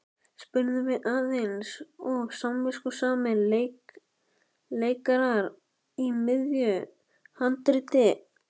spurðum við eins og samviskusamir leikarar í miðju handriti.